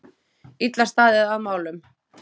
Illa staðið að málum.